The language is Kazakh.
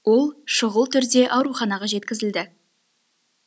ол шұғыл түрде ауруханаға жеткізілді